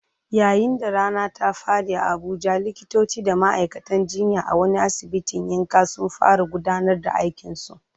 Yayin da rana ta faɗi a Abuja, likitoci da ma'aikatan jinya a wani asibitin yankin sun fara gudanar da aikinsu.